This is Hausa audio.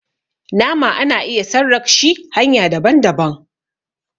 nama ana iya sarrag shi hanya daban - daban